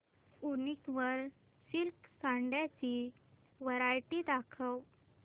वूनिक वर सिल्क साड्यांची वरायटी दाखव